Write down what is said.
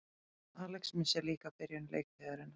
Alex missir líka af byrjun leiktíðarinnar